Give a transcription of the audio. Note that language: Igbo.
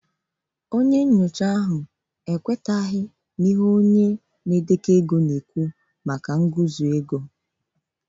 Onye nyocha ahụ ekwenyeghị kpamkpam na onye na-edekọ ego na okwu nguzozi